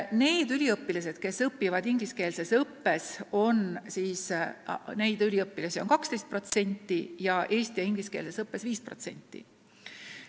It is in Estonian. Neid tudengeid, kes õpivad ingliskeelses õppes, on 12%, eesti- ja ingliskeelses õppes 5%.